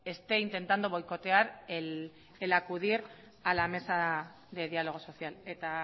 esté intentando boicotear el acudir a la mesa de diálogo social eta